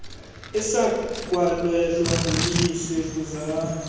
esakwalelwa nguyise buzani